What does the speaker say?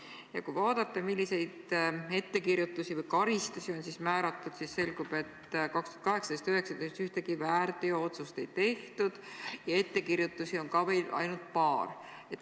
Ja kui vaadata, milliseid ettekirjutusi või karistusi on määratud, siis selgub, et aastatel 2018–2019 ühtegi väärteo otsust ei tehtud ja ettekirjutusi on olnud ka ainult paar.